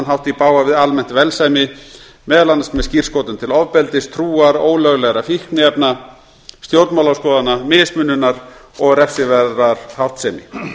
hátt í bága við almennt velsæmi meðal annars með skírskotun til ofbeldis trúar ólöglegra fíkniefna stjórnmálaskoðana mismununar og refsiverðrar háttsemi